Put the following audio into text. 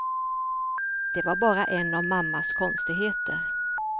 Det var bara en av mammas konstigheter.